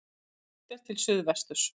Horft er til suðvesturs.